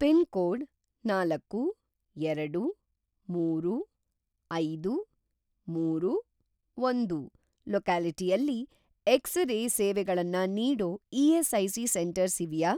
Pin code ನಾಲ್ಕು ಎರಡು ಮೂರು ಐದು ಮೂರು ಒಂದು ಲೊಕ್ಯಾಲಿಟಿಯಲ್ಲಿ ಎಕ್ಸ್-ರೇ ಸೇವೆಗಳನ್ನ ನೀಡೋ ಇ.ಎಸ್.ಐ.ಸಿ. ಸೆಂಟರ್ಸ್‌ ಇವ್ಯಾ?